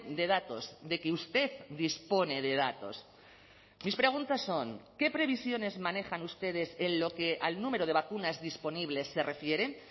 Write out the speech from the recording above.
de datos de que usted dispone de datos mis preguntas son qué previsiones manejan ustedes en lo que al número de vacunas disponibles se refieren